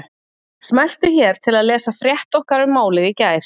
Smelltu hér til að lesa frétt okkar um málið í gær